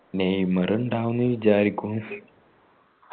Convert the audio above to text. Neymar ഇണ്ടാവുന്ന് വിചാരിക്കും